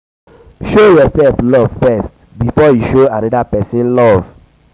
show yourself love first before you show another persin love